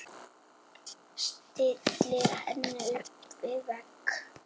Stillir henni upp við vegg.